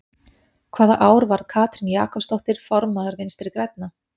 Hvaða ár varð Katrín Jakobsdóttir formaður Vinstri-Grænna?